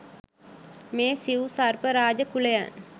මේ සිව් සර්ප රාජ කුලයන්